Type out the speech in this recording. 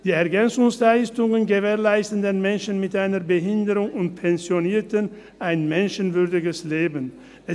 Mit den EL wird den Menschen mit einer Behinderung und Pensionierten ein menschenwürdiges Leben gewährleistet.